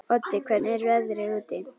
Oddi, hvernig er veðrið úti?